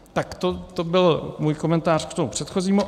Tak to byl můj komentář k tomu předchozímu.